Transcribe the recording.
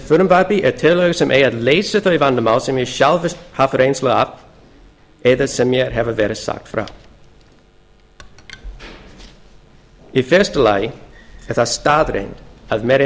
í þessu frumvarpi eru tillögur sem eiga að leysa þau vandamál sem ég hef sjálfur haft reynslu af eða sem mér hefur verið sagt frá í fyrsta lagi er það staðreynd að